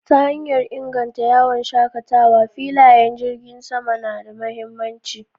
Ta hanyar inganta yawon shakatawa, filayen jiragen sama na da mahimmanci.